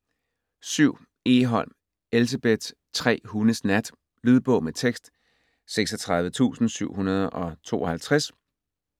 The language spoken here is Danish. Egholm, Elsebeth: Tre hundes nat Lydbog med tekst 36752